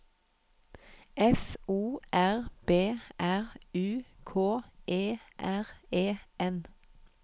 F O R B R U K E R E N